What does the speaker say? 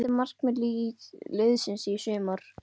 Hvert er markmið liðsins í sumar?